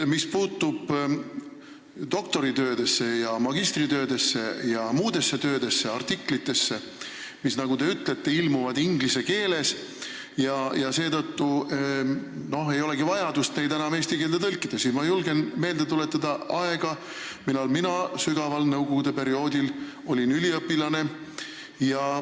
Mis puutub doktoritöödesse, magistritöödesse ja muudesse töödesse ja artiklitesse, mis, nagu te ütlesite, ilmuvad inglise keeles ja neid ei olegi enam vaja eesti keelde tõlkida, siis ma julgen meelde tuletada sügavat nõukogude aega, kui mina olin üliõpilane.